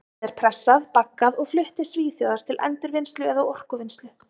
Plastið er pressað, baggað og flutt til Svíþjóðar til endurvinnslu eða orkuvinnslu.